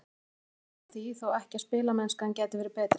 Heimir neitar því þó ekki að spilamennskan gæti verið betri.